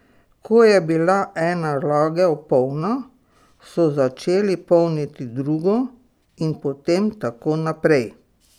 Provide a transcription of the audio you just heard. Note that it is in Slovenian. Ko je bila ena lagev polna, so začeli polniti drugo in potem tako naprej.